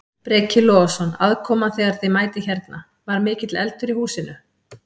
Breki Logason: Aðkoman þegar að þið mætið hérna, var mikill eldur í húsinu?